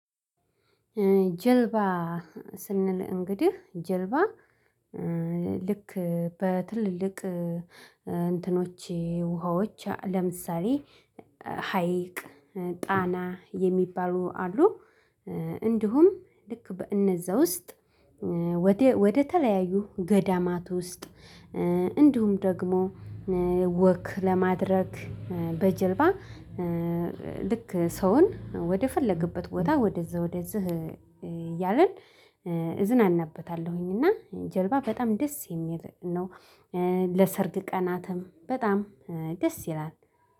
ጀልባ ሲንል እንግዲህ ጀልባ ልክ በትልልቅ እንትኖች ውሃዎች ለምሳሌ ሀይቅ ጣና የሚባሉ አሉ። እንዲሁም ልክ በእነዛ ውስጥ ወደ ተለያዩ ገዳማት ውስጥ እንዲሁም ደግሞ ወክ ለማድረግ በጀልባ ልክ ሰውን ወደፈለገበት ቦታ ወደዛ ወደዛ እያልን እዝናናበታለሁኝ እና ጀልባ በጣም ደስ የሚል ነው። ለሰርግ ቀናትም በጣም ደስ ይላል